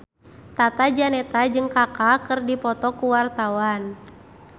Tata Janeta jeung Kaka keur dipoto ku wartawan